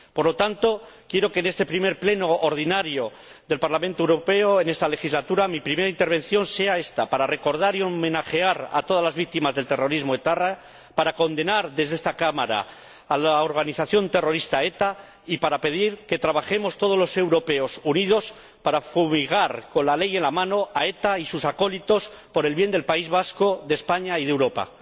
Por lo tanto, quiero que, en este primer Pleno ordinario del Parlamento Europeo en esta legislatura, mi primera intervención sea ésta, para recordar y homenajear a todas las víctimas del terrorismo etarra, para condenar desde esta Cámara a la organización terrorista ETA y para pedir que trabajemos todos los europeos unidos para fumigar, con la ley en la mano, a ETA y sus acólitos, por el bien del País Vasco, de España y de Europa.